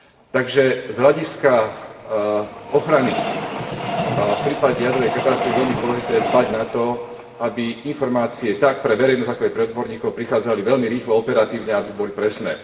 Takže z hľadiska ochrany v prípade jadrovej katastrofy je veľmi dôležité dbať na to, aby informácie tak pre verejnosť, ako aj pre odborníkov prichádzali veľmi rýchlo a operatívne a aby boli presné.